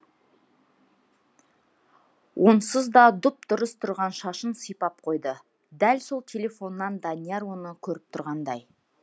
онсыз да дұп дұрыс тұрған шашын сипап қойды дәл сол телефоннан данияр оны көріп тұрғандай